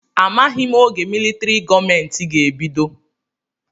Amaghị m oge militrị gọọmenti ga-ebido.